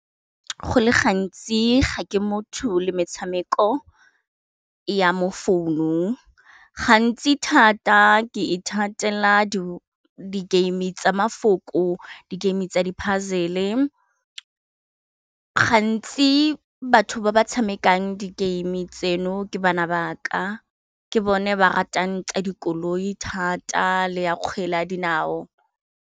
Go le gantsi ga ke motho le metshameko ya mo founung gantsi thata ke ithatela di game tsa mafoko di game tsa di puzzle-e gantsi batho ba ba tshamekang di game tseno ke bana ba ka, ke bone ba ratang tsa dikoloi thata le ya kgwele ya dinao.